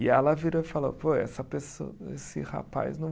E ela virou e falou, pô, essa pesso, esse rapaz não